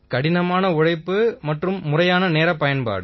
கடினமான உழைப்பு முறையான நேரப் பயன்பாடு